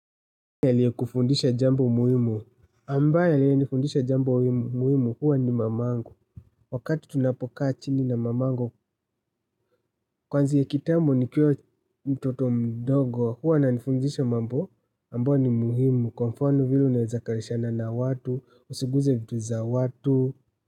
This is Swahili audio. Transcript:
Aliye kufundisha jambo muhimu ambaye aliyenifundisha jambo muhimu huwa ni mamangu wakati tunapokaa chini na mamangu kwanzia kitambo nikiwa mtoto mdogo huwa ananifundisha mambo ambayo ni muhimu kwa mfano vile unaeza kalishana na watu usiguze vitu za watu.